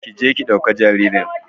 Ƙi je ki dauki jaririn.